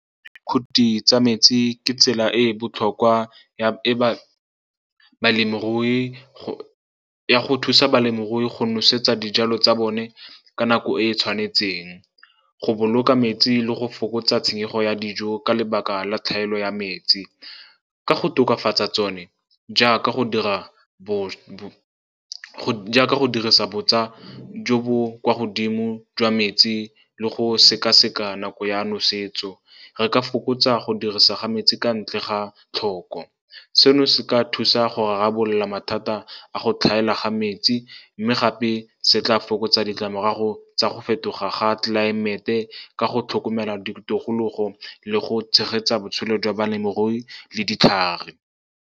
Khuthi tsa metsi ke tsela e e botlhokwa ya go thusa balemirui go nosetsa dijalo tsa bone ka nako e e tshwanetseng, go boloka metsi le go fokotsa tshenyego ya dijo ka lebaka la tlhaelo ya metsi. Ka go tokafatsa tsone , jaaka go dirisa botsa jo bo kwa godimo jwa metsi le go sekaseka nako ya nosetso, re ka fokotsa go dirisa ga metsi ka ntle ga tlhoko. Seno se ka thusa go rarabolola mathata a go tlhaela ga metsi, mme gape se tla fokotsa ditlamorago tsa go fetoga ga tlelaemete ka go tlhokomela ditikologo le go tshegetsa botshelo jwa balemirui le ditlhare.